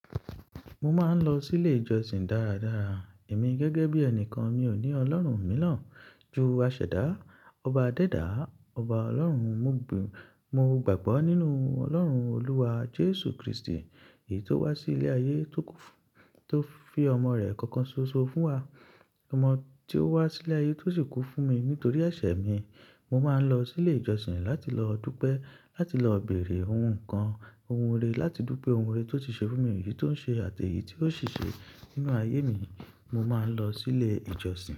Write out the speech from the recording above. Mo máa ń lọ sí ilé ìjọsìn dáradára. Èmi gẹ́gẹ́ bí ẹnìkan mi ò ní Ọlọ́run mìíràn ju asèdá, ọba dẹ́dàá, ọba Ọlọ́run. Mo gbàgbọ́ nínú Ọlọ́run Olúwa Jésù Kristi, èyí tó wá sí ilé ayé tó fi ọmọ rẹ̀ kankan ṣoṣo fún wa. Ọmọ tí ó wá sí ilé ayé to'si kú fún mi nítorí ẹ̀ṣẹ̀ mi. Mo máa ń lọ sí ilé ìjọsìn láti lọ dúpẹ́, láti lọ beèrè ohun kan, ohun rere, láti dúpẹ́ ohun rere tó ti ṣe fún mi, èyí tó ń ṣe àti èyí tí yóò sì ṣe nínú ayé mi. Mo máa ń lọ sí ilé ìjọsìn.